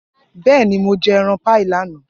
Bẹẹni, Mo jẹ ẹran paii lana.